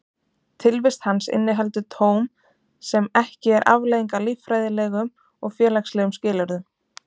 Tilvist hans inniheldur tóm sem ekki er afleiðing af líffræðilegum og félagslegum skilyrðum.